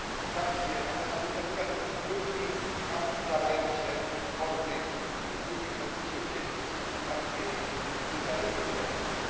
Tam, gdzie natura nie znosi próżni, tam zwalają się hordy ludzi chcących się osiedlić, tam, gdzie jest luka demograficzna.